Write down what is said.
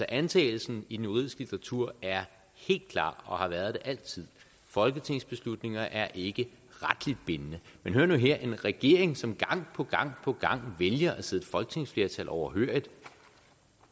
antagelsen i den juridiske litteratur er helt klar og har været det altid folketingsbeslutninger er ikke retligt bindende men hør nu her en regering som gang på gang på gang vælger at sidde et folketingsflertal overhørig